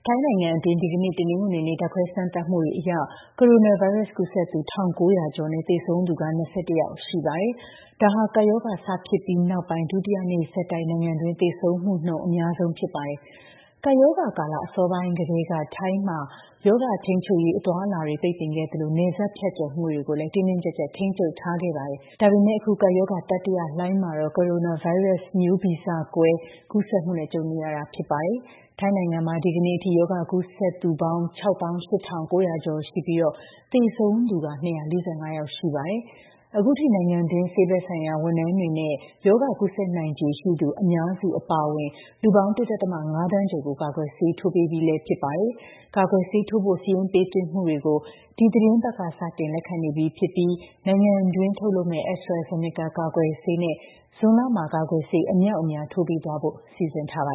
ိုင်းနိုင်ငံတွင်း ဒီကနေ့ တနင်္ဂနွေနေ့ ဓာတ်ခွဲစမ်းသပ်မှုတွေအရ ကိုရိုနာဗိုင်းရပ်စ် ကူးစက်သူ ၁,၉၀၀ ကျော်နဲ့ သေဆုံးသူက ၂၁ ယောက်ရှိပါတယ်။ ဒါဟာ ကပ်ရောဂါ စဖြစ်ပြီးနောက်ပိုင်း ဒုတိယနေ့ဆက်တိုက် နိုင်ငံတွင်း သေဆုံးမှုနှုန်း အများဆုံးဖြစ်ပါတယ်။ ကပ်ရောဂါကာလ အစောပိုင်းကတည်းက ထိုင်းမှာ ရောဂါထိန်းချုပ်ရေး အသွားအလာတွေ ပိတ်ပင်ခဲ့သလို နယ်စပ်ဖြတ်ကျော်မှုတွေကိုလည်း တင်းတင်းကျပ်ကျပ် ထိန်းချုပ်ထားခဲ့တာပါ။ ဒါပေမယ့် အခု ကပ်ရောဂါ တတိယလှိုင်းမှာ ကိုရိုနာဗိုင်းရပ်စ် မျိုးဗီဇကွဲ ကူးစက်မှုနဲ့ ကြုံနေရတာ ဖြစ်ပါတယ်။ ထိုင်းနိုင်ငံမှာ ဒီကနေ့အထိ ရောဂါကူးစက်ထားသူပေါင်း ၆၈,၉၀၀ ကျော်ရှိပြီး သေဆုံးသူ စုစုပေါင်း ၂၄၅ ယောက်ရှိပါတယ်။ အခုထိ နိုင်ငံတွင်း ဆေးဘက်ဆိုင်ရာ ဝန်ထမ်းတွေနဲ့ ရောဂါကူးစက်နိုင်ခြေရှိသူ အများစု အပါအဝင် လူပေါင်း ၁.၅ သန်းကျော်ကို ကာကွယ်ဆေး ထိုးပေးထားပြီး ဖြစ်ပါတယ်။ ကာကွယ်ဆေးထိုးဖို့ စာရင်းပေးသွင်းမှုတွေကိုလည်း ဒီသီတင်းပတ်က စလက်ခံနေပြီဖြစ်ပြီး နိုင်ငံတွင်းထုတ်လုပ်မယ့် AstraZeneca ကာကွယ်ဆေးနဲ့ ဇွန်လမှာ ကာကွယ်ဆေး အမြောက်အမြား ထိုးပေးသွားဖို့ စီစဉ်ထားပါ